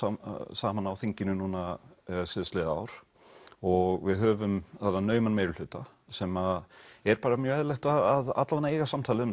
saman á þinginu núna síðastliðið ár og við höfum þarna nauman meirihluta sem er mjög eðlilegt að allavega eiga samtal um